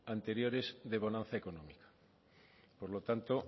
anteriores de bonanza económica por lo tanto